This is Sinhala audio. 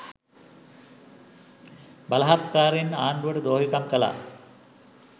බලහත්කාරෙන් ආණ්ඩුවට ද්‍රෝහිකම් කළා